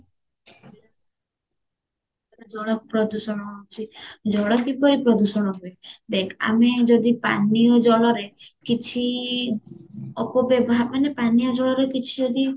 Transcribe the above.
ଜଳ ପ୍ରଦୂଷଣ ହଉଚି ଜଳ କିପରି ପ୍ରଦୂଷଣ ହୁଏ ଦେଖ ଆମେ ଯଦି ପାନୀୟ ଜଳରେ କିଛି ଅପ ବ୍ୟବହା ମାନେ ପାନୀୟ ଜଳରେ ଯଦି କିଛି